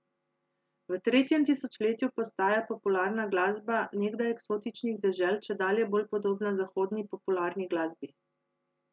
V tretjem tisočletju postaja popularna glasba nekdaj eksotičnih dežel čedalje bolj podobna zahodni popularni glasbi.